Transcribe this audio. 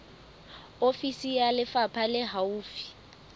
ofisi ya lefapha le haufi